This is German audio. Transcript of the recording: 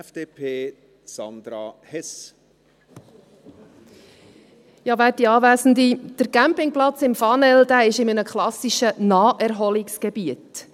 Der Campingplatz im Fanel befindet sich in einem klassischen Naherholungsgebiet.